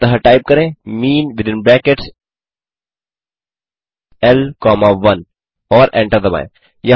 अतः टाइप करें mean within brackets L comma 1 और एंटर दबाएँ